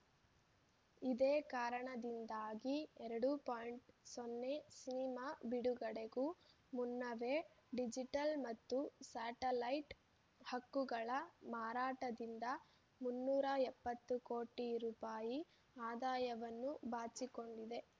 ಇದೇ ಕಾರಣದಿಂದಾಗಿ ಎರಡು ಪಾಯಿಂಟ್ ಸೊನ್ನೆ ಸಿನಿಮಾ ಬಿಡುಗಡೆಗೂ ಮುನ್ನವೇ ಡಿಜಿಟಲ್‌ ಮತ್ತು ಸ್ಯಾಟಲೈಟ್‌ ಹಕ್ಕುಗಳ ಮಾರಾಟದಿಂದ ಮುನ್ನೂರ ಎಪ್ಪತ್ತು ಕೋಟಿ ರೂಪಾಯಿ ಆದಾಯವನ್ನು ಬಾಚಿಕೊಂಡಿದೆ